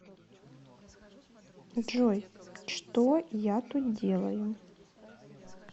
джой что я тут делаю